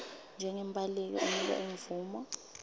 njengembaleki unikwa imvumo